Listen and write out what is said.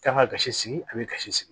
Kan ka gasi sigi a bɛ kasi sigi